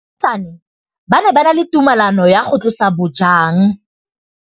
Baagisani ba ne ba na le tumalanô ya go tlosa bojang.